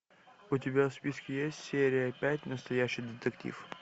у тебя в списке есть серия пять настоящий детектив